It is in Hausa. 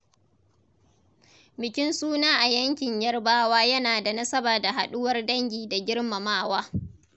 Bikin suna a yankin Yarbawa yana da nasaba da haɗuwar dangi da girmamawa.